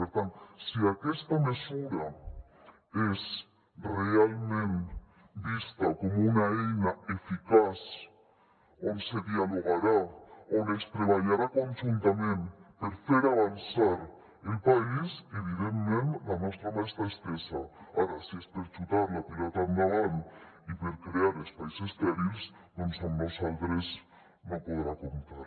per tant si aquesta mesura és realment vista com una eina eficaç on se dialogarà on es treballarà conjuntament per fer avançar el país evidentment la nostra mà està estesa ara si és per xutar la pilota endavant i per crear espais estèrils doncs amb nosaltres no podrà comptar